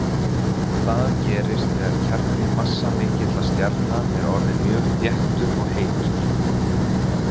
Það gerist þegar kjarni massamikilla stjarna er orðinn mjög þéttur og heitur.